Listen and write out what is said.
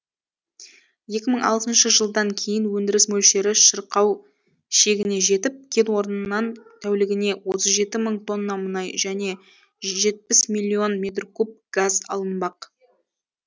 екі мың алтыншы жылдан кейін өндіріс мөлшері шырқау шегіне жетіп кен орнынан тәулігіне отыз жеті мың тонна мұнай және жетпіс миллион метр куб газ алынбақ